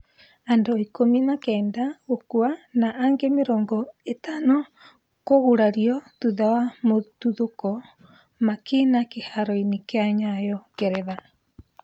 Andũ ikũmi na kenda gũkua na angĩ mĩrongo itano kũgurario thutha wa mututhũko makĩina kiharo-inĩ kia Nyayo Ngeretha